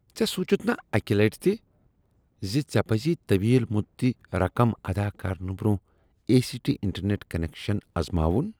ژےٚ سونچتھ نا اکہ لٹہ تہ زِ ژےٚ پزی طویل مدتی رقم ادا کرنہٕ برٛونٛہہ A C T internet connection ازماون